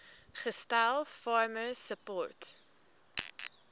gestel farmer support